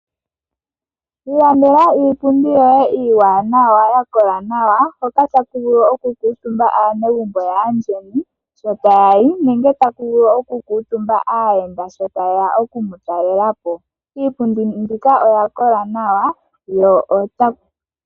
Ilandela iipundi yoye iiwanawa, ya kola nawa, hoka taku vulu oku kuutumba aanegumbo yaayeni sho taya li nenge taku vulu oku kuutumba aayenda sho taye ya okumutalela po. Iipundi mbika oya kola nawa.